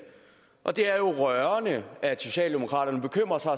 og det er jo rørende at socialdemokraterne bekymrer sig